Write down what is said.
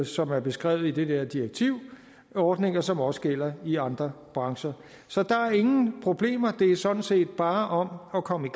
som er beskrevet i det der direktiv ordninger som også gælder i andre brancher så der er ingen problemer det er sådan set bare om at komme